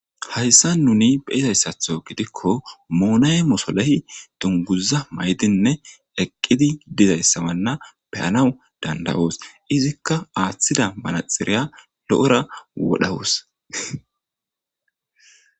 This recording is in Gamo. hayssa nuni beizayssatho gidikko moonay mosolehi dunguza maydinne eqqidi dizayssamanna beyanaw danda7oos izikka aaththida manaxiriya lo7ora wodhawoos